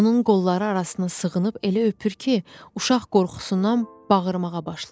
Onun qolları arasına sığınıb elə öpür ki, uşaq qorxusundan bağırmağa başlayır.